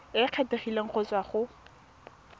e kgethegileng go tswa go